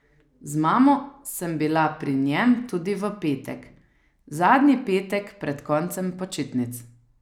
Z mamo sem bila pri njem tudi v petek, zadnji petek pred koncem počitnic.